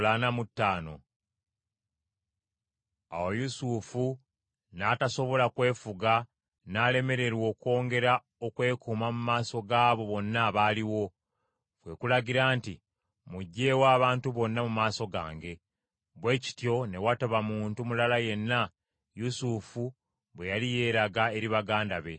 Awo Yusufu n’atasobola kwefuga n’alemererwa okwongera okwekuuma mu maaso gaabo bonna abaaliwo; kwe kulagira nti, “Muggyeewo abantu bonna mu maaso gange.” Bwe kityo ne wataba muntu mulala yenna Yusufu bwe yali yeeraga eri baganda be.